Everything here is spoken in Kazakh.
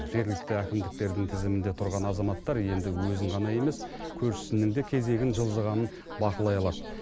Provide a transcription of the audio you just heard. жергілікті әкімдіктердің тізімінде тұрған азаматтар енді өзін ғана емес көршісінің де кезегінің жылжығанын бақылай алады